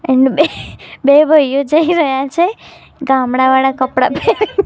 and બે બે ભાઇઓ જઇ રહ્યા છે ગામડા વાળા કપડા--